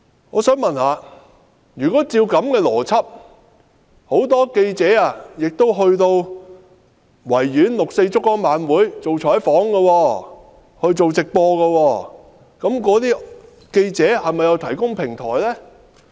我想問，如果依照這樣的邏輯，很多記者到維園六四燭光晚會採訪和直播，這又是否等於記者提供平台？